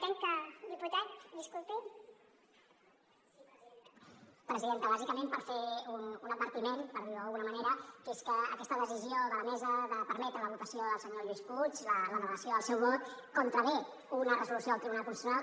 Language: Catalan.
presidenta bàsicament per fer un advertiment per dir ho d’alguna manera que és que aquesta decisió de la mesa de permetre la votació del senyor lluís puig la delegació del seu vot contravé una resolució del tribunal constitucional